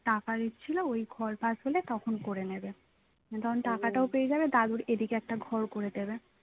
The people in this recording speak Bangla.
টাকা দিচ্ছিল ওই ঘর পাশ হলে তখন করে নেবে তখন টাকাটাও পেয়ে যাবে দাদুর এদিকে একটা ঘর করে দেবে